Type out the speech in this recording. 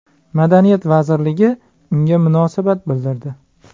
Madaniyat vazirligi unga munosabat bildirdi .